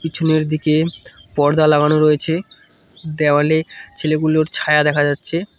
পিছনের দিকে পর্দা লাগানো রয়েছে দেওয়ালে ছেলেগুলোর ছায়া দেখা যাচ্ছে।